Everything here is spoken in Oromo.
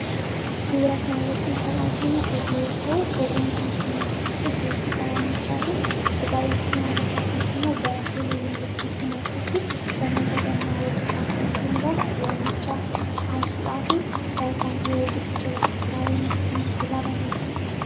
Suura kanarratti kan arginu oduu yoo ta'u, oduu kunis immoo kan ibsu beeksisa waamichaati. Egaa beeksisni waamichaa kunis immoo barattoota Yuuniversiitii Mattuutti Barnoota gannaa hordofaa turan hundaaf waamicha taasisuudhaafi kan biiroo guddicha Rejistiraara Yuuniversitii Mattuurraa barreeffamedha.